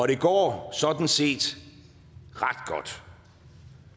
det går sådan set ret godt